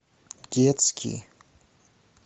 детский